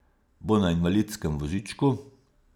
Bo na invalidskem vozičku?